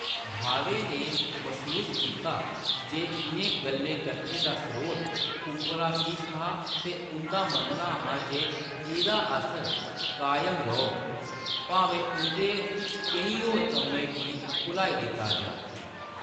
भावे ने मसूस कीता जे इʼनें गल्लें-कत्थें दा स्रोत उप्परा किश हा ते उंʼदा मन्नना ​​​​हा जे एह्‌‌‌दा असर कायम रौह्‌‌‌ग, भामें उंʼदे केईं होर कम्में गी भुलाई दित्ता जाऽ।